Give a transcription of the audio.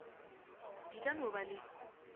di ka no ba le